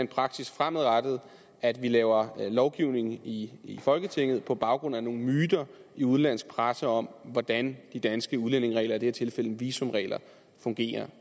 praksis fremadrettet at vi laver lovgivning i folketinget på baggrund af nogle myter i udenlandsk presse om hvordan de danske udlændingeregler i det her tilfælde visumregler fungerer